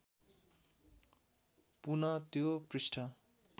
पुनः त्यो पृष्ठ